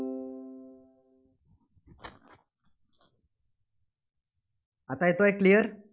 आता येतोय clear?